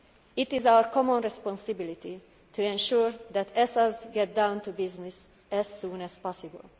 It is our common responsibility to ensure that ESAs get down to business as soon as possible.